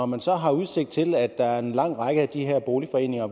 man så har udsigt til at der i en lang række af de her boligforeninger